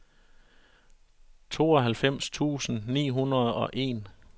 tooghalvfems tusind ni hundrede og en